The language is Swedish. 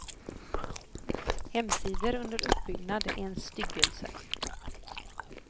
Hemsidor under uppbyggnad är en styggelse.